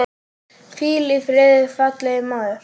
Hvíl í friði, fallegi maður.